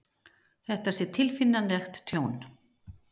Þetta sé tilfinnanlegt tjón